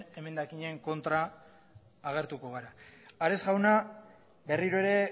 emendakinen aurka agertuko gara ares jauna berriro ere